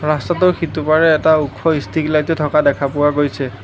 ৰাস্তাটোৰ সিটোপাৰে এটা ওখ ষ্ট্ৰীট্ লাইটো থকা দেখা পোৱা গৈছে।